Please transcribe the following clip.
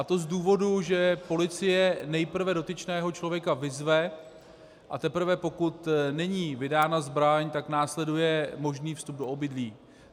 Je to z důvodu, že policie nejprve dotyčného člověka vyzve, a teprve pokud není vydána zbraň, tak následuje možný vstup do obydlí.